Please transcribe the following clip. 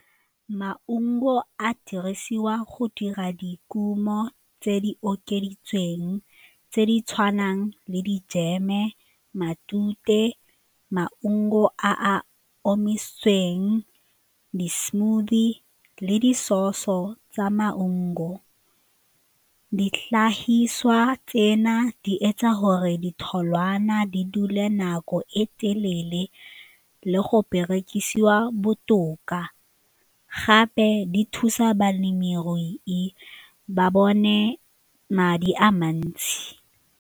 Maungo a dirisiwa go dira dikumo tse di okeditsweng tse di tshwanang le dijeme, matute, maungo a a omisitsweng, di-smoothie le di-sause-o tsa maungo di tlhagisa tsena di etsa gore ditholwana di dule nako e pele le go berekisiwa botoka gape di thusa balemirui e ba bone madi a mantsi.